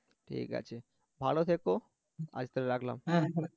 ঠিক আছে ভালো থেকো আজ তাহলে রাখলাম